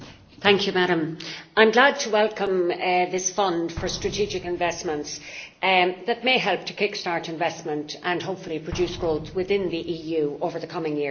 Madam President, I am glad to welcome this European Fund for Strategic Investments that may help to kick start investment and, hopefully, produce growth within the EU over the coming years.